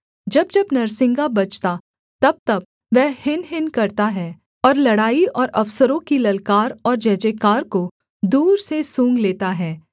जब जब नरसिंगा बजता तबतब वह हिनहिन करता है और लड़ाई और अफसरों की ललकार और जय जयकार को दूर से सूँघ लेता है